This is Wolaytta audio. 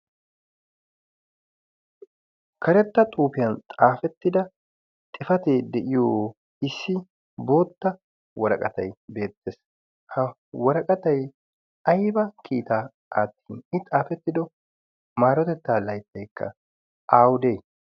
karetta xuufiyan xaafettida xifatee deyiyo issi bootta waraqatay beettees. ha waraqatai aiba kiitaa aattin i xaafettido maarotettaa laittaikka awude?